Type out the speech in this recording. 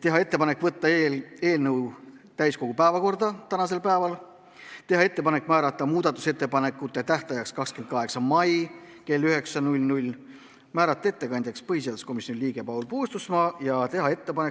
Tehti ettepanek võtta eelnõu täiskogu päevakorda tänaseks päevaks, määrata muudatusettepanekute tähtajaks 28. mai kell 9, määrata ettekandjaks põhiseaduskomisjoni liige Paul Puustusmaa ja